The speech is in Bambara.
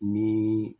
Ni